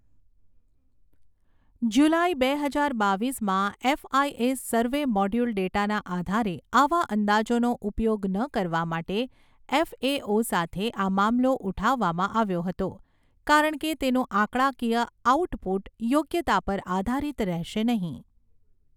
જુલાઈ બે હજાર બાવીસમાં એફઆઈએસ સર્વે મોડ્યુલ ડેટાના આધારે આવા અંદાજોનો ઉપયોગ ન કરવા માટે એફએઓ સાથે આ મામલો ઉઠાવવામાં આવ્યો હતો કારણ કે તેનું આંકડાકીય આઉટપુટ યોગ્યતા પર આધારિત રહેશે નહીં.